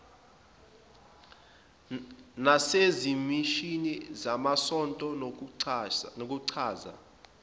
nasezimishini zamasonto nokuchaza